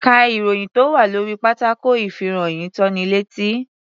Ká ìròyìn tó wà lórí pátákó ìfìròyìntónilétí.